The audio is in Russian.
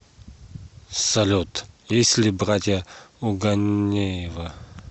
салют есть ли братья у ганеева